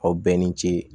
Aw bɛɛ ni ce